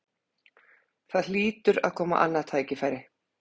Það hlýtur að koma annað tækifæri